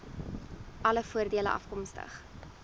alle voordele afkomstig